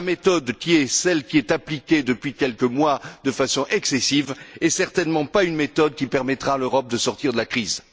La méthode qui est celle qui est appliquée depuis quelques mois de façon excessive n'est certainement pas une méthode qui permettra à l'Europe de sortir de la crise.